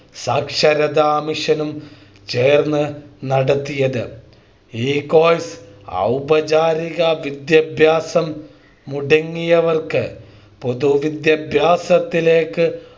സാക്ഷരതാ മിഷനും ചേർന്ന് നടത്തിയത് ഈ Course ഔപചാരികവിദ്യാഭ്യാസം മുടങ്ങിയവർക്ക് പൊതുവിദ്യാഭ്യാസത്തിലേക്ക്